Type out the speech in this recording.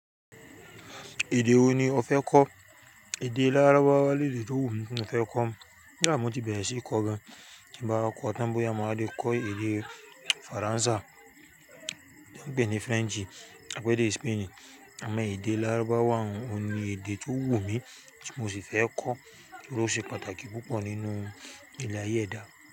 Èdè wo ni o fẹ́ kọ́? Èdè lárúbáwá lèdè tó wù mí tí mo fẹ́ kọ́. Koda mo ti bẹ̀rẹ̀ sí í kọ gan, tí mo bá wa kọ́ tán bóyá mo wa le kọ́ èdè Faransé tí wọ́n ń pè ní French, àbí èdè Spain àmọ́ èdè lárúbáwá un, oun ni èdè tó wù mí tí mo sì fẹ́ kọ́ torí ó ṣe pàtàkì púpọ̀ nínú ilé ayé ẹ̀dá.